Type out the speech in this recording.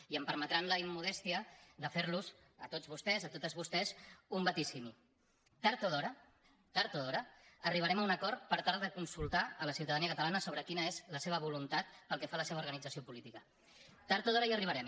i em permetran la immodèstia de fer los a tots vostès a totes vostès un vaticini tard o d’hora tard o d’hora arribarem a un acord per tal de consultar la ciutadania catalana sobre quina és la seva voluntat pel que fa a la seva organització política tard o d’hora hi arribarem